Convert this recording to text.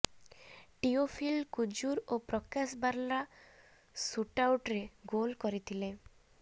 ଟିଓଫିଲ୍ କୁଜୁର ଓ ପ୍ରକାଶ ବାର୍ଲା ସୁଟ୍ଆଉଟ୍ରେ ଗୋଲ୍ କରିଥିଲେ